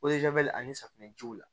ani safunɛjiw la